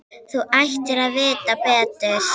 Þú ættir að vita betur.